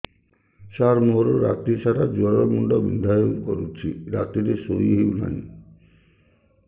ସାର ମୋର ରାତି ସାରା ଜ୍ଵର ମୁଣ୍ଡ ବିନ୍ଧା କରୁଛି ରାତିରେ ଶୋଇ ହେଉ ନାହିଁ